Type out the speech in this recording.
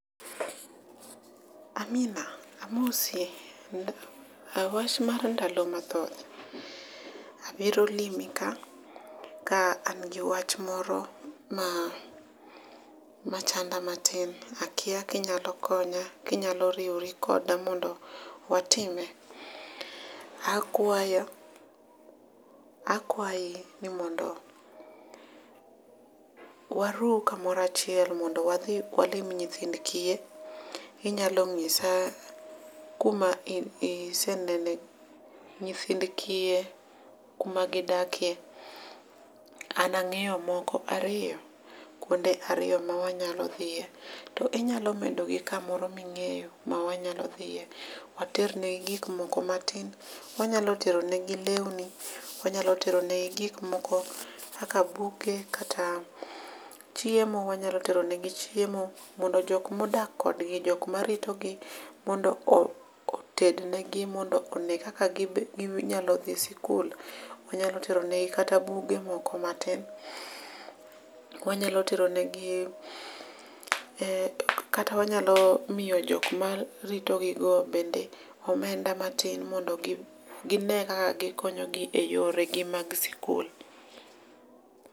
Amina amosi. Wach mar ndalo mathoth. Abiro limi ka ka an gi wach moro ma machanda matin. Akia kinyalo konya. Kinyalo riwori koda mondo watime. Akwayo akwayi ni mondon warom kumoro achiel mondo wadhoi walim nyithind kiye. Inyalo nyisa kuma isenene nyithind kiye kuma gidakie. An ang'eyo moko ariyo. Kuonde ariyo ma wanyalo dhiyie. To inyalo medo gi kamoro ming'eyo ma wanyalo dhiyie. Water ne gi gik moko matin. Wanyalo tero negi lewni. Wanyalo teronegi gik moko kaka buge kata chiemo. Wanyalo teronegi chiemo mondo jok modak kodgi jok maritogi mondo oted negi mondo one kaka ginyalo dhi e skul. Wanyalo ternegi kata buge moko matin. Wanyalo teronegi kata wanyalo miyo jok maritogigo bende omenda matin mondo gine kaka gikonyogi e yoregi mag sikul.